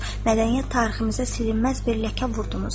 Mədəniyyət tariximizə silinməz bir ləkə vurdunuz.